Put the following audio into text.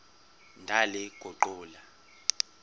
ndaliguqula